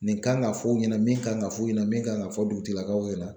Nin kan ka fɔ o ɲɛna min kan ka fɔ ɲɛna min kan ka fɔ dugutigilakaw ɲɛna.